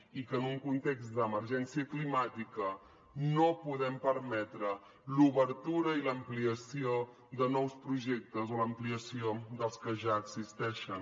i que en un context d’emergència climàtica no podem permetre l’obertura i l’ampliació de nous projectes o l’ampliació dels que ja existeixen